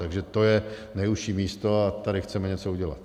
Takže to je nejužší místo a tady chceme něco udělat.